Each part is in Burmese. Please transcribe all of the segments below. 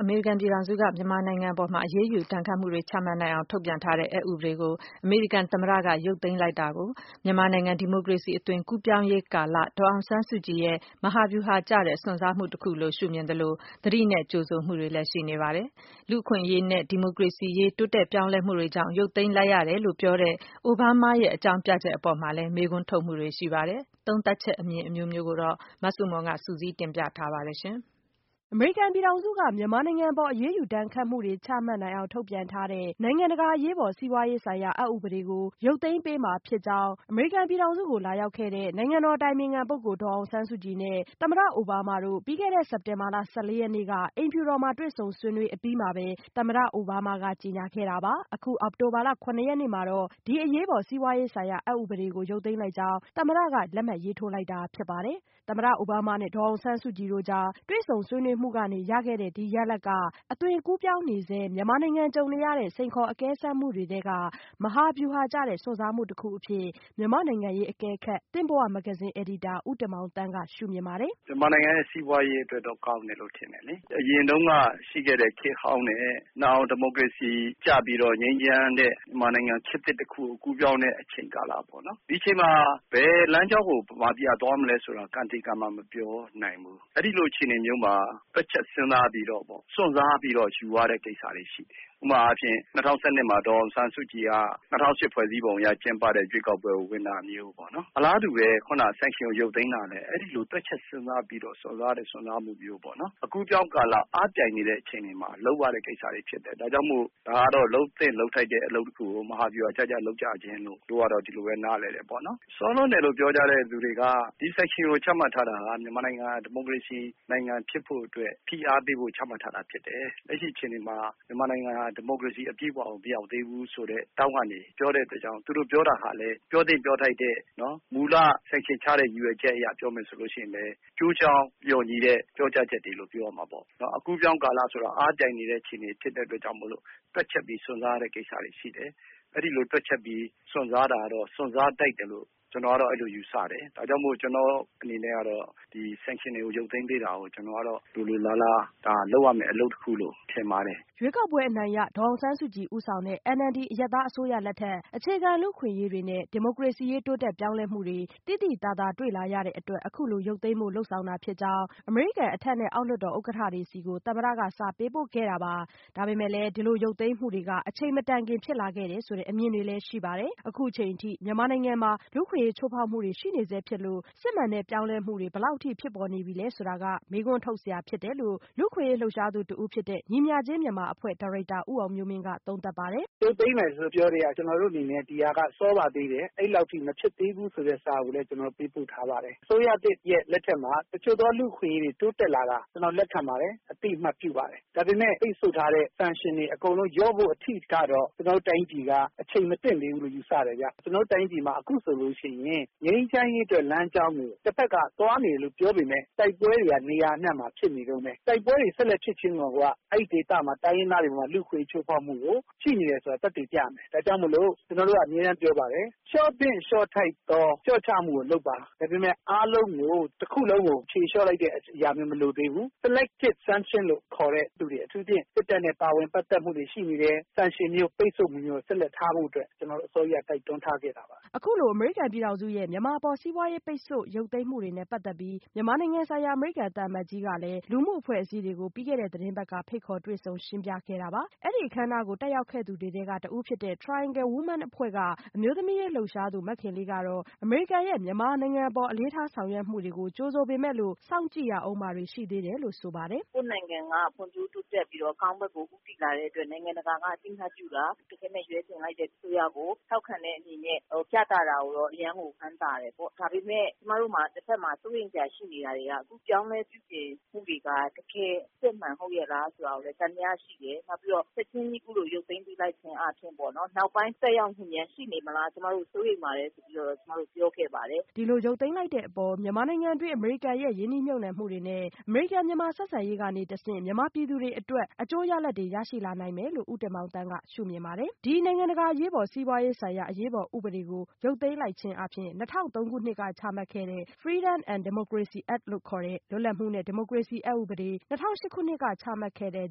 အမေရိကန်ပြည်ထောင်စုက မြန်မာနိုင်ငံအပေါ် အရေးယူဒဏ်ခတ်မှုတွေ ချမှတ်နိုင်ေ အာင် ထုတ်ပြန်ထားတဲ့ အက်ဥပဒေကိုအမေရိကန် သမ္မတက ရုပ်သိမ်းလိုက်တာ ကို မြန်မာနိုင်ငံ ဒီမိုကရေစီ အသွင်အကူးအပြောင်းကာလ ဒေါ်အောင်ဆန်းစုကြည် ရဲ့ မဟာဗျူဟာကျတဲ့ စွန့်စားမှု တခုလိုရှုမြင်သလို သတိနဲ့ကြိုဆို မှုတွေလည်း ရှိနေပါတယ်။ လူ့အခွင့်အရေးနဲ့ ဒီမိုကရေစီရေး တိုးတက်ပြောင်းလဲမှုတွေကြောင့် ရုပ်သိမ်း လိုက်ရတယ်လို့ပြောတဲ့ အိုဘားမားရဲ့ အကြောင်းပြချက် အပေါ်လည်း မေး ခွန်းထုတ်နေကြပါတယ်။ သုံးသပ်ချက် အမြင်အမျိုးမျိုးကို မဆုမွန် စုစည်းတင်ပြ ထားပါတယ်။ အမေရိကန်ပြည်ထောင်စုက မြန်မာနိုင်ငံအပေါ် အရေးယူဒဏ်ခတ်မှုတွေ ချမှတ် နိူင်အောင် ထုတ်ပြန်ထားတဲ့ နိုင်ငံတကာ အရေးပေါ် စီးပွားရေး ဆိုင်ရာ အက် ဥပဒေကို ရုတ်သိမ်းပေး မှာ ဖြစ်ကြောင်းအမေရိကန်ပြည်ထောင်စုကို လာရောက် ခဲ့တဲ့ နိုင်ငံတော်အတိုင်ပင်ခံပုဂ္ဂိုလ် ဒေါ်အောင်ဆန်းစုကြည်နဲ့ သမ္မတအိုဘားမား တို့ ပြီးခဲ့တဲ့ စက်တင်ဘာလ ၁၄ ရက်နေ့က အိမ်ဖြူတော်မှာ တွေ့ဆုံဆွေးနွေး အပြီးမှာပဲ သမ္မတ အိုဘားမားက ကြေညာခဲ့တာပါ။ အောက်တိုဘာလ ၇ရက်နေ့ မှာတော့ ဒီအရေးပေါ် စီးပွားရေးဆိုင်ရာ အက်ဥပဒေကို ရုပ်သိမ်းလိုက်ကြောင်း သမ္မတက လက်မှတ်ရေးထိုးလိုက်တာဖြစ်ပါတယ်။ သမ္မတအိုဘားမားနဲ့ ဒေါ်အောင်ဆန်းစုကြည်တို့ကြား တွေ့ဆုံဆွေးနွေးမှုကနေ ရ ခဲ့တဲ့ ဒီရလဒ်က အသွင်ကူးပြောင်းနေဆဲ မြန်မာနိုင်ငံ ကြုံနေရတဲ့ စိန်ခေါ်အကဲစမ်း မှုတွေထဲက မဟာဗျူဟာကျတဲ့ စွန့်စားမှုတခုအဖြစ် မြန်မာ့နိုင်ငံရေးအကဲခတ် သင့်ဘဝမဂ္ဂဇင်း အယ်ဒီတာ ဦးတင်မောင်သန်းက ရှုမြင်ပါတယ်။ “ မြန်မာနိူင်ငံရဲ့ စီးပွားရေးအတွက်တော့ ကောင်းတယ်လို့ ထင်တယ်လေ။ အရင် တုန်းက ရှိခဲ့တဲ့ ခေတ်ဟောင်းနဲ့ နောင် ဒီမိုကရေစီကျ ပြီးတော့ ငြိမ်းချမ်းတဲ့ မြန်မာနိူ င်ငံ ခေတ်သစ်တခုကို ကူးပြောင်းတဲ့ အချိန်ကာလပေါ့ နော့.. ဒီအချိန်မှာ ဘယ် လမ်းကြောင်းကို မြန်မာပြည်က သွားမလဲဆိုတာ ကံသေကံမ မပြောနိူင်ဘူး၊ အဲဒီလို အခြေအနေမျိုးမှာ တွက်ချက် စဉ်းစားပြီးတော့ပေါ့ စွန့်စားပြီးတော့ ယူရတဲ့ကိစ္စတွေ ရှိတယ်။ ဥပမာအားဖြင့် ၂၀၁၂ မှာ ဒေါ်အောင်ဆန်းစုကြည်က ၂၀၀၈ ဖွဲ့စည်းပုံအရ ကျင်းပတဲ့ ရွေးကောက်ပွဲကို ဝင်ပြိုင်တာမျိုးပေါ့နော်။ အလားတူပဲ sanction ကို ရုပ်သိမ်းတာလဲ အဲဒီလိုပဲ တွက်ချက်စဉ်းစားပြီးတော့ စွန့်စားတဲ့ စွန်းစားမှုမျိုးပေါ့။ အကူးအပြောင်းကာလ အားပြိုင်နေတဲ့ အခြေအနေမှာ လုပ်ရတဲ့ကိစ္စတွေ ဖြစ်တယ်။ ဒါကြောင့်မို့ ဒါကတော့ လုပ်သင့်လုပ်ထိုက်တဲ့ အလုပ်တခုကို မဟာဗျူဟာ ကျကျ လုပ်ကြခြင်းလို့ပဲ - ဒီလိုပဲ နားလည်တယ်။ စောလွန်းတယ်လို့ ပြောကြတဲ့သူတွေက ဒီ sanction ကိုချမှတ် ထားတာဟာ မြန်မာနိူင်ငံ ဒီမိုကရေစီ နိူင်ငံဖြစ်ဖို့အတွက် ဖိအားပေးဖို့ ချမှတ်ထားတာ ဖြစ်တယ်။ လက်ရှိအခြေအနေမှာ မြန်မာနိူင်ငံဟာ ဒီမိုကရေစီ အပြည့်အဝကို မရောက်သေးဘူးဆိုတဲ့ ထောင့်ကနေ ပြောတဲ့ အတွက်ကြောင့် သူတို့ပြောတာဟာလဲ ပြောသင့်ပြောထိုက်တဲ့ မူလ sanction ချတဲ့ ရည်ရွယ် ချက်အရ ပြောမယ်ဆိုလို့ ရှိရင်လည်း ကျိုးကြောင်း လျှော်ညီတဲ့ ပြောကြား ချက်တွေလို့ ပြောရမှာပဲ။ ဒါကြောင့်မို့ ကျနော်ကတော့ ဒီလို sanction ရုပ်သိမ်းပေး တာကို လိုလိုလားလား ဒါလုပ်ရမယ့် အလုပ်တခုလို့ မြင်ပါတယ်” ရွေးကောက်ပွဲအနိုင်ရ ဒေါ်အောင်ဆန်းစုကြည်ဦးဆောင်တဲ့ NLD အရပ်သား အစိုးရလက်ထက် အခြေခံလူ့အခွင့်အရေးတွေနဲ့ ဒီမိုကရေစီရေး တိုးတက်ပြောင်း လဲမှုတွေ သိသိသာသာ တွေ့လာရတဲ့အတွက် အခုလိုရုပ်သိမ်းဖို့ လုပ်ဆောင်တာ ဖြစ်ကြောင်း အမေရိကန် အထက်နဲ့ အောက် လွှတ်တော် ဥက္ကဋ္ဌတွေဆီကို သမ္မတ က စာပေးပို့ခဲ့တာပါ။ ဒါပေမဲ့ ဒီလိုရုပ်သိမ်းမှုတွေက အချိန်မတိုင်ခင် ဖြစ်လာခဲ့တယ်ဆိုတဲ့ အမြင်တွေလည်း ရှိပါတယ်။ အခုအချိန်အထိ မြန်မာနိုင်ငံမှာ လူ့အခွင့်အရေး ချိုးဖောက်မှုတွေရှိနေဆဲဖြစ်လို့ စစ်မှန်တဲ့ပြောင်းလဲမှုတွေ ဘယ်လောက် အထိဖြစ်ပေါ် နေပြီလဲ ဆိုတာ မေးခွန်းထုတ် စရာဖြစ်တယ်လို့ လူ့အခွင့်အရေး လှုပ်ရှားသူတဦးဖြစ်တဲ့ ညီမျှခြင်းမြန်မာအဖွဲ့ ဒါရိုက်တာ ဦးအောင်မျိုးမင်းက သုံးသပ်ပါတယ်။ “ရုပ်သိမ်းမယ်လို့ ပြောကတည်းက ဒီဟာက စောပါသေးတယ်လို့ အဲလောက်ထိ မဖြစ်သင့်သေးဘူး ဆိုတဲ့စာကို ကျနော်တို့ ပေးပို့ထားပါတယ်၊ အစိုးရသစ် လက်ထက်မှာ တချို့သော လူ့အခွင့်အရေးတွေ တိုးတက်လာတာ ကျနော် လက်ခံပါတယ်၊ အသိအမှတ် ပြုပါတယ်။ ဒါပေမယ့် ပိတ်ဆို့ထားတဲ့ sanction တွေ အကုန်လုံး ရုပ်သိမ်းဖို့ အထိကတော့ ကျနော်တို့တိုင်းပြည်က အချိန်ခါ မသင့်သေး ဘူးလို့ ယူဆတယ်ဗျ။ ကျနော်တို့တိုင်းပြည်မှာ အခုဆိုလို့ရှိရင် ငြိမ်းချမ်းရေးအတွက် လမ်းကြောင်းကို တဖက်က သွားနေတယ်လို့ ပြောပေမယ့် တိုက်ပွဲတွေက နေရာ အနှံ့မှာဖြစ်နေတုန်းပဲ။ တိုက်ပွဲတွေ ဆက်ဖြစ်နေတာကိုယ်က အဲဒီဒေသက တိုင်းရင်း သားတွေအပေါ် လူ့အခွင့်အရေး ချိုးဖေါက်မှု ရှိနေတယ် ဆိုတာ သက်သေပြနေ တယ်။ ဒါ့ကြောင့်မို့ ကျနော်တို့က အမြဲပြောပါတယ်။ လျှော့သင့် လျှော့ ထိုက်သော လျှော့ချမှုကိုလုပ်ပါ၊ ဒါပေမယ့် အားလုံးကို တခုလုံးကို ဖြေလျှော့လိုက် တာမျိုးတော့ မလိုသေးဘူး။ Selected sanction လို့ခေါ်တဲ့သူတွေ အထူူးသဖြင့် စစ်တပ်နဲ့ ပါဝင် ပတ်သက်မှုတွေ ရှိနေတယ်။ sanction မျိုး ပိတ်ဆို့မှုမျိုးကို ထားဖို့အတွက် ကျနော်တို့ အစောကြီးကတည်းက တိုက်တွန်းထားခဲ့ တာပါ” အခုလို အမေရိကန်ပြည်ထောင်စုရဲ့ မြန်မာအပေါ် စီးပွားရေးပိတ်ဆို့မှု ရုပ်သိမ်း မှုတွေနဲ့ပတ်သက်ပြီး မြန်မာနိုင်ငံဆိုင်ရာ အမေရိကန်သံအမတ် ကြီးက လူမှု အဖွဲ့အစည်းတွေကို ဖိတ်ခေါ်တွေ့ဆုံရှင်းပြခဲ့တာပါ။ အဲ့ဒီအခမ်းအနားကို တက်ရောက် ခဲ့သူတွေထဲက တဦးဖြစ်တဲ့ Triangle Women အဖွဲ့က အမျိုးသမီးရေး လှုပ်ရှားသူ မခင်လေးကတော့ အမေရိကန်ရဲ့ မြန်မာနိုင်ငံအပေါ် အလေးထားေ ဆာင်ရွက်ချက်တွေကို ကြိုဆိုပေမယ်လို့ စောင့်ကြည့်ရဦးမှာတွေ ရှိသေးတယ်လို့ ဆိုပါတယ်။ “ ကိုယ့်နိုင်ငံက ဖွံ့ဖြိုးတိုးတက်ပြီးတော့ အကောင်းဘက်ကို ဦးတည်လာတဲ့ အတွက် နိုင်ငံတကာက အသိအမှတ်ပြုတာ တခဲနက် ရွေးချယ်လိုက်တဲ့ အစိုးရ ကို ထောက်ခံတဲ့အနေနဲ့ ပြသတာကိုတော့ အရမ်းကိုဝမ်းသာတယ်။ ဒါပေမဲ့ ကျမတို့မှာ တဘက်မှာ စိုးရိမ်စရာရှိနေတာတွေက အခုပြုပြင်ပြောင်းလဲမှုတွေက တကယ်အစစ် အမှန်ဟုတ်ရဲ့လား ဆိုတာကိုလည်း သံသယရှိတယ်။ နောက် ပြီးတော့ ချက်ချင်းကြီး အခုလို ရုပ်သိမ်းပေးလိုက်ခြင်းအားဖြင့်၊ နောက်ပိုင်း သက်ရောက် မှုများရှိနေမလား ကျမတို့စိုးရိမ်ပါတယ်ဆိုပြီး ပြောခဲ့ပါတယ် ” ဒီလိုရုပ်သိမ်းလိုက်တဲ့အပေါ် မြန်မာနိုင်ငံတွင်း အမေရိကန်ရဲ့ ရင်းနှီးမြှုပ်နှံမှုတွေ နဲ့ အမေရိကန်-မြန်မာဆက်ဆံရေးကနေ တဆင့် မြန်မာပြည် သူတွေအတွက် အကျိုးရလဒ်တွေ ရရှိလာနိုင်မယ်လို့ ဦးတင်မောင်သန်းက ပြောပါတယ်။ ဒီ နိုင်ငံတကာ အရေးပေါ် စီးပွားရေးဆိုင်ရာ အရေးပေါ်ဥပဒေကို ရုတ်သိမ်းလိုက်ခြင်းအားဖြင့် ၂၀၀၃ ခုနှစ်က ချမှတ်ခဲ့တဲ့ Freedom and Democracy Act လို့ခေါ်တဲ့ လွတ်လပ်မှုနဲ့ ဒီမိုကရေစီအက်ဥပဒေ၊ ၂၀၀၈ ခုနှစ်က ချမှတ်ခဲ့တဲ့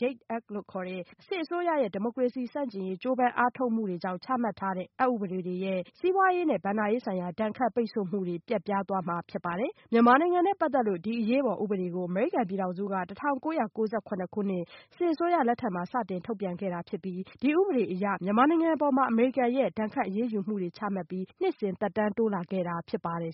JADE Act လို့ခေါ်တဲ့ စစ်အစိုးရရဲ့ ဒီမိုကရေစီ ဆန့်ကျင်ရေး ကြိုးပမ်း အားထုတ်မှု တွေကြောင့် ချမှတ်ထားတဲ့ အက်ဥပဒေတွေအရ စီးပွားရေးနဲ့ ဘဏ္ဍာရေးဆိုင်ရာ ဒဏ်ခတ်ပိတ်ဆို့မှုတွေ ပျက်ပြားသွားမှာဖြစ်ပါတယ်။ မြန်မာနိုင်ငံနဲ့ ပါတ်သက်လို့ ဒီအရေးပေါ် ဥပဒေကို အမေရိကန်ပြည်ထောင်စုက ၁၉၉၇ ခုနှစ် စစ်အစိုးရ လက်ထက်မှာ စတင်ထုတ်ပြန်ပြီး ဒီဥပဒေအရ မြန်မာနိုင်ငံအပေါ် အမေရိကန် ဒဏ်ခတ်အရေးယူမှုတွေ ချမှတ်ပြီး နှစ်စဉ် သက်တမ်းတိုး လာခဲ့တာဖြစ်ပါတယ်